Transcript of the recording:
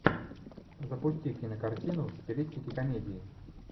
запусти кинокартину в стилистике комедии